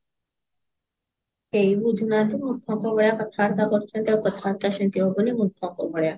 କେହି ବୁଝୁନାହାନ୍ତି ମୂର୍ଖଙ୍କ ଭଳିଆ କଥାବାର୍ତା କରୁଛନ୍ତି ଆଉ କଥାବାର୍ତା ସେମିତି ହବନି ମୂର୍ଖଙ୍କ ଭଳିଆ